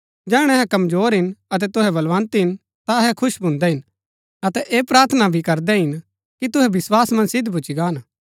जैहणै अहै कमजोर हिन अतै तुहै बलवन्त हिन ता अहै खुश भून्दै हिन अतै ऐह प्रार्थना भी करदै हिन कि तुहै विस्वास मन्ज सिद्ध भूच्ची गान